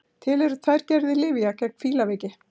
Til eru tvær gerðir lyfja gegn fílaveiki.